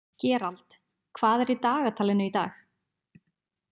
Gerald, hvað er í dagatalinu í dag?